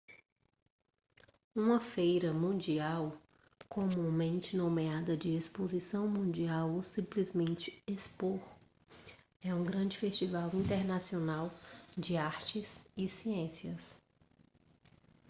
uma feira mundial comumente nomeada de exposição mundial ou simplesmente expo é um grande festival internacional de artes e ciências